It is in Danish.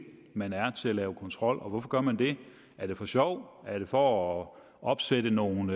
man er til at lave kontrol hvorfor gør man det er det for sjov er det for at opsætte nogle